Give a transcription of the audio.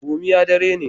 gomiya dari ne